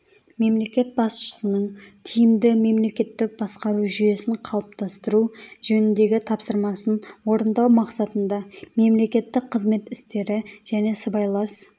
мемлекет басшысының тиімді мемлекеттік басқару жүйесін қалыптастыру жөніндегі тапсырмасын орындау мақсатында мемлекеттік қызмет істері және сыбайлас